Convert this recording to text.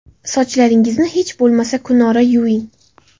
Sochlaringizni hech bo‘lmasa kunora yuving.